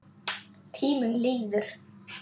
Tíminn líður.